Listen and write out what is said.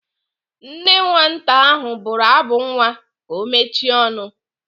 Nne nwata ahụ bụrụ abụ nwa ka ọ mechie ọnụ.